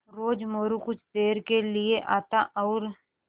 रोज़ मोरू कुछ देर के लिये आता और